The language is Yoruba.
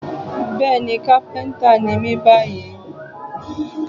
Bẹ́ẹ̀ni, kápẹ́ńtà ni mí báyìí.